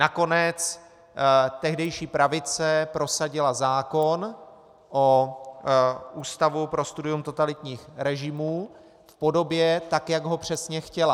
Nakonec tehdejší pravice prosadila zákon o Ústavu pro studium totalitních režimů v podobě, tak jak ho přesně chtěla.